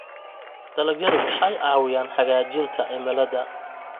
Dalagyadu waxay caawiyaan hagaajinta cimilada.